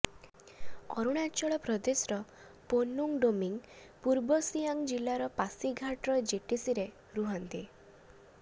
ଅରୁଣାଚଳ ପ୍ରଦେଶର ପୋନୁଙ୍ଗ ଡୋମିଙ୍ଗ ପୂର୍ବ ସିୟାଙ୍ଗ ଜିଲ୍ଲାର ପାସିଘାଟର ଜିଟିସିରେ ରୁହନ୍ତି